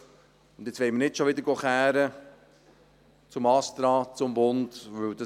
Jetzt wollen wir nicht schon wieder zum ASTRA, zum Bund klagen gehen.